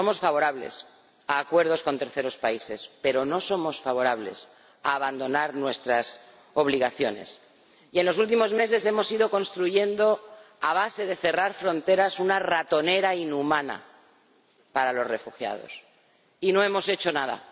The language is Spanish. Somos favorables a acuerdos con terceros países, pero no somos favorables a abandonar nuestras obligaciones, y en los últimos meses hemos ido construyendo, a base de cerrar fronteras, una ratonera inhumana para los refugiados, y no hemos hecho nada.